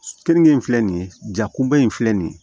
Keninge in filɛ nin ye jakunba in filɛ nin ye